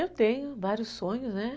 Eu tenho vários sonhos, né?